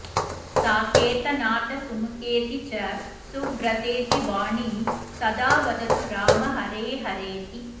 साकेतनाथ सुमुखेति च सुव्रतेति वाणी सदा वदतु राम हरे हरेति